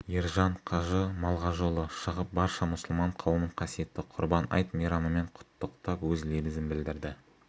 ержан қажы малғажыұлы шығып барша мұсылман қауымын қасиетті құрбан айт мейрамымен құттықтап өз лебізін білдірді